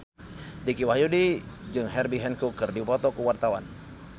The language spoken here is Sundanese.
Dicky Wahyudi jeung Herbie Hancock keur dipoto ku wartawan